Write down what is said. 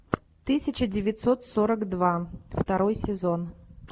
тысяча девятьсот сорок два второй сезон